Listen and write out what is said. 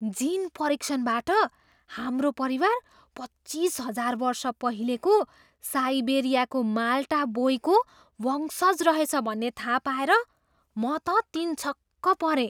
जिन परीक्षणबाट हाम्रो परिवार पच्चिस हजार वर्ष पहिलेको साइबेरियाको माल्टा बोईको वंशज रहेछ भन्ने थाहा पाएर म त तिनछक्क परेँ।